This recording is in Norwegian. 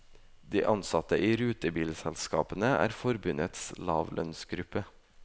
De ansatte i rutebilselskapene er forbundets lavlønnsgruppe.